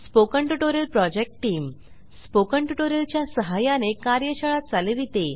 spoken tutorial project team spoken tutorial च्या सहाय्याने कार्यशाळा चालविते